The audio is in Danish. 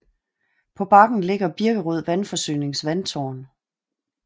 På bakken ligger Birkerød Vandforsynings vandtårn